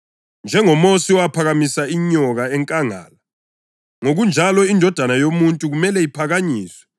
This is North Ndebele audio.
NjengoMosi owaphakamisa inyoka enkangala, ngokunjalo iNdodana yoMuntu kumele iphakanyiswe,